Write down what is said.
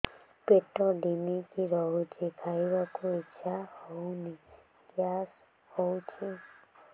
ପେଟ ଢିମିକି ରହୁଛି ଖାଇବାକୁ ଇଛା ହଉନି ଗ୍ୟାସ ହଉଚି